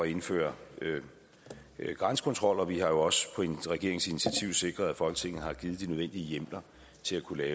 indføre grænsekontrol vi har jo også på regeringens initiativ sikret at folketinget har givet de nødvendige hjemler til at kunne